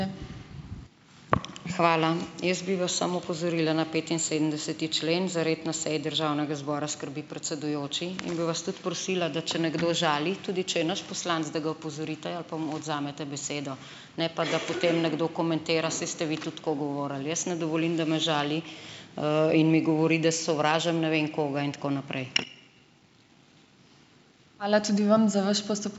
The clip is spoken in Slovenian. Hvala. Jaz bi vas samo opozorila na petinsedemdeseti člen: Za red na seji državnega zbora skrbi predsedujoči; in bi vas tudi prosila, da če nekdo žali, tudi če je naš poslanec, da ga opozorite ali pa mu odvzamete besedo, ne pa da potem nekdo komentira: Saj ste vi tudi tako govorili. Jaz ne dovolim, da me žali, in mi govori, da sovražim ne vem koga in tako naprej.